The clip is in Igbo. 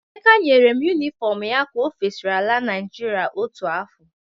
Emeka nyere m yunifọmụ ya ka o fesiri ala Naịjirịa otu afọ.